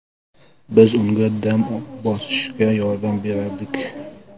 Biz unga dam bosishga yordam berardik.